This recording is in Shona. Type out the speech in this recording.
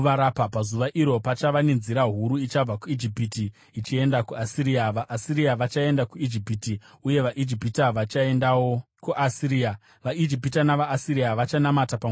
Pazuva iro, pachava nenzira huru ichabva kuIjipiti ichienda kuAsiria. VaAsiria vachaenda kuIjipiti uye vaIjipita vachaendawo kuAsiria. VaIjipita navaAsiria vachanamata pamwe chete.